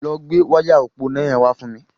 Lọ gbé wáyà òpó iná yẹn wá fún mi.